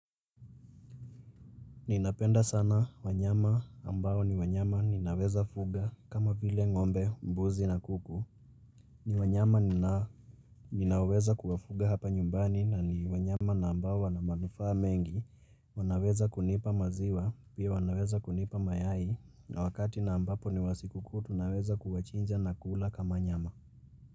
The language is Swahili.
Ninapenda sana wanyama ambao ni wanyama ninaweza fuga kama vile ngombe, mbuzi na kuku. Ni wanyama ninaweza kuwafuga hapa nyumbani na ni wanyama na ambao wana manufaa mengi, wanaweza kunipa maziwa, pia wanaweza kunipa mayai, na wakati na ambapo ni wa siku kuu tunaweza kuwachinja na kula kama nyama.